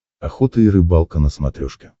охота и рыбалка на смотрешке